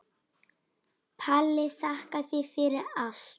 Palli, þakka þér fyrir allt.